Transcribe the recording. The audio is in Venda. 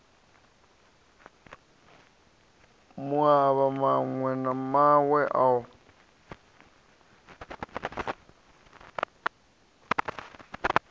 mauvha mawe na mawe o